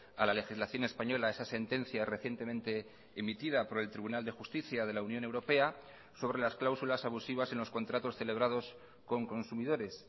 a la legislación española esa sentencia recientemente emitida por el tribunal de justicia de la unión europea sobre las cláusulas abusivas en los contratos celebrados con consumidores